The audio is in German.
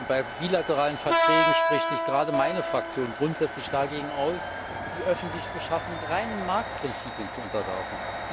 Bei bilateralen Verträgen spricht sich gerade meine Fraktion grundsätzlich dagegen aus, die öffentliche Beschaffung reinen Marktprinzipien zu unterwerfen.